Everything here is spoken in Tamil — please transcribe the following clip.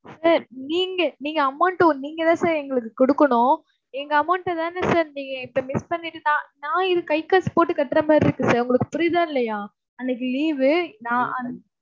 sir நீங்க, நீங்க amount டும் நீங்கத் தான் sir எங்களுக்குக் கொடுக்கணும். எங்க amount அ தான sir நீங்க இப்ப miss பண்ணிட்டு நான் நான் என் கைக்காசு போட்டுக் கட்டுற மாதிரி இருக்கு sir. உங்களுக்குப் புரியுதா இல்லையா? அன்னைக்கு leave வு. நான் அன்~